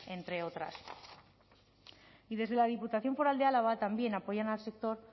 entre otras y desde la diputación foral de álava también apoyan al sector